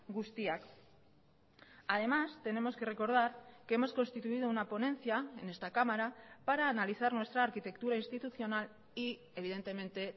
guztiak además tenemos que recordar que hemos constituido una ponencia en esta cámara para analizar nuestra arquitectura institucional y evidentemente